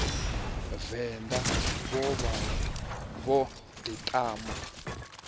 venḓa vho vha vho ḓiṱama